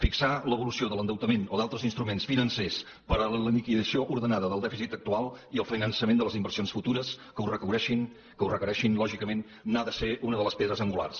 fixar l’evolució de l’endeutament o d’altres instruments financers per a la liquidació ordenada del dèficit actual i el finançament de les inversions futures que ho requereixin lògicament n’ha de ser una de les pedres angulars